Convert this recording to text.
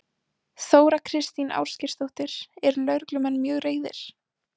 Þóra Kristín Ásgeirsdóttir: Eru lögreglumenn mjög reiðir?